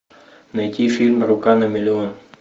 найти фильм рука на миллион